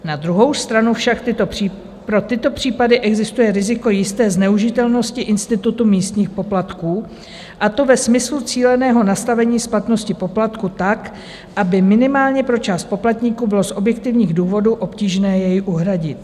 Na druhou stranu však pro tyto případy existuje riziko jisté zneužitelnosti institutu místních poplatků, a to ve smyslu cíleného nastavení splatnosti poplatku tak, aby minimálně pro část poplatníků bylo z objektivních důvodů obtížné jej uhradit.